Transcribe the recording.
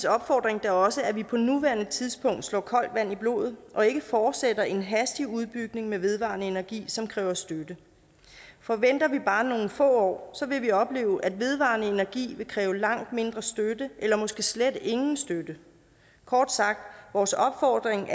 opfordring da også at vi på nuværende tidspunkt slår koldt vand i blodet og ikke fortsætter en hastig udbygning med vedvarende energi som kræver støtte for venter vi bare nogle få år vil vi opleve at vedvarende energi vil kræve langt mindre støtte eller måske slet ingen støtte kort sagt er vores opfordring